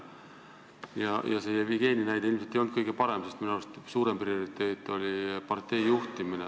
See Jevgeni näide ilmselt ei olnud kõige parem, sest minu arust oli tema suurim prioriteet partei juhtimine.